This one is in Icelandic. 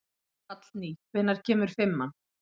Hallný, hvenær kemur fimman?